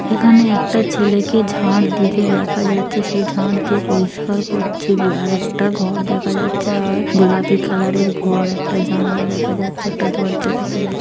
এখানে একটা ছেলেকে ঝাড় দিতে দেখা যাচ্ছে সে ঝাড় দিয়ে পরিষ্কার করছে আর একটা ঘর দেখা যাচ্ছে আর গোলাপী কালার -এর ঘর একটা জানলা দেখা যাচ্ছে একটা দরজা দেখা যাচ--